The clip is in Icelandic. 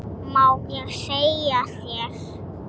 Má ég segja þér.